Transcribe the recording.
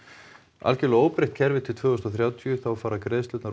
algjörlega óbreytt kerfi til tvö þúsund og þrjátíu þá fara greiðslurnar